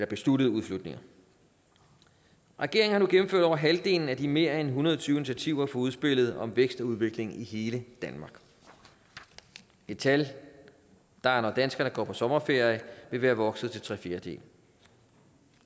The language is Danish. besluttede udflytninger regeringen har nu gennemført over halvdelen af de mere end en hundrede og tyve initiativer fra udspillet om vækst og udvikling i hele danmark et tal der når danskerne går på sommerferie vil være vokset til tre fjerdedele